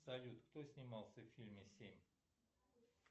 салют кто снимался в фильме семь